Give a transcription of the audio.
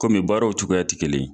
Komi baaraw cogoya tɛ kelen ye.